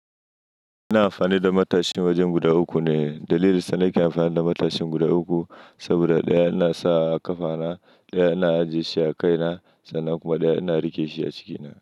Ina amfani da matashi wajen guda uku ne. Dalilin sa ni ke amfani da matashin guda uku, saboda ɗaya yana sa a kafa na, ɗaya yana ajiye shi a kai na sannan kuma ɗaya yana rike shi a ciki na.